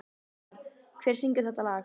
Víðar, hver syngur þetta lag?